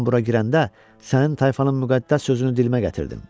Mən bura girəndə sənin tayfanın müqəddəs sözünü dilimə gətirdim.